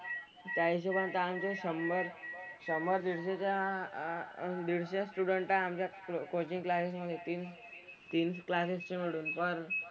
त्या हिशोबाने तर आमचे शंभर शंभर दीडशे च्या अह दीडशे स्टुडंट तर आमच्या कोचिंग क्लासेस मधे येतील. तीन क्लासेसचे मिळून पण,